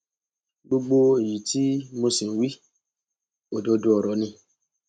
gbogbo èyí tí mo sì ń wí òdodo ọrọ ni